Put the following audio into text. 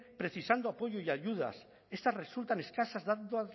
precisando apoyo y ayudas estas resultan escasas dada